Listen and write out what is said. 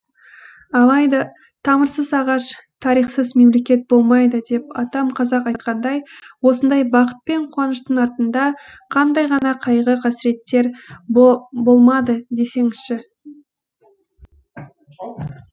алайда тамырсыз ағаш тарихсыз мемлекет болмайды деп атам қазақ айтқандай осындай бақыт пен қуаныштың артында қандай ғана қайғы қасіреттер болмады десеңізші